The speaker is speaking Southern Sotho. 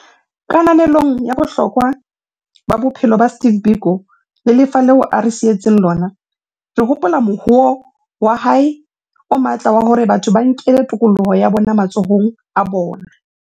Kananelong ya bohlokwa ba bophelo ba Steve Biko le lefa leo a re sietseng lona, re hopola mohoo wa hae o matla wa hore batho ba nkele tokoloho ya bona matsohong a bona.